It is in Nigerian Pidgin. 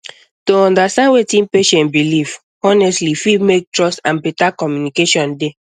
to understand wetin patient believe honestly fit make trust and better communication dey